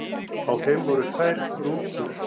Af þeim voru tvær rútur.